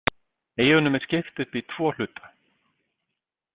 Eyjunum er skipt upp í tvo hluta.